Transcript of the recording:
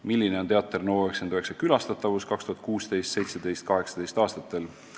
"Milline oli Teater NO99 külastatavus 2016, 2017, 2018 aastatel?